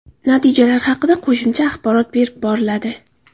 Natijalar haqida qo‘shimcha axborot berib boriladi.